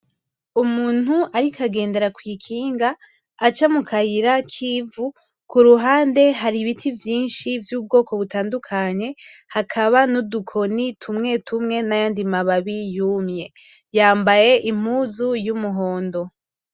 Umuntu ariko agendera kw'ikinga, aca mu kayira kivu ku ruhande hari ibiti vyinshi vyubgoko butandukanye hakaba n'udukoni tumwe tumwe nayandi mababi yumye yambaye impuzu y'umuhondo.